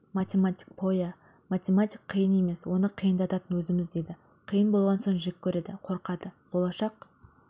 математик пойа математика қиын емес оны қиындататын өзіміз дейді қиын болған соң жек көреді қорқады болашақ